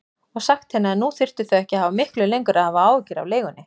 Og sagt henni að nú þyrftu þau ekki miklu lengur að hafa áhyggjur af leigunni.